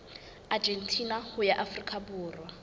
argentina ho ya afrika borwa